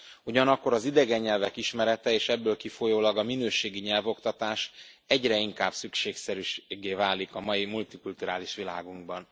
Ugyanakkor az idegen nyelvek ismerete, és ebből kifolyólag a minőségi nyelvoktatás egyre inkább szükségszerűséggé válik a mai multikulturális világunkban.